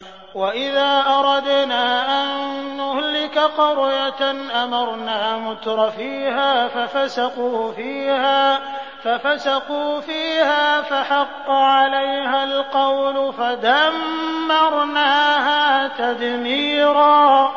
وَإِذَا أَرَدْنَا أَن نُّهْلِكَ قَرْيَةً أَمَرْنَا مُتْرَفِيهَا فَفَسَقُوا فِيهَا فَحَقَّ عَلَيْهَا الْقَوْلُ فَدَمَّرْنَاهَا تَدْمِيرًا